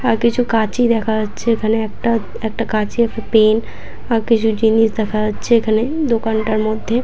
আর কিছু কাঁচি দেখা যাচ্ছে এখানে একটা একটা কাঁচি একটা পেন আর কিছু জিনিস দেখা যাচ্ছে এখানে দোকানটার মধ্যে।